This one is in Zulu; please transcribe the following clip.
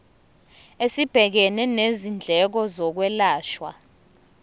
esibhekene nezindleko zokwelashwa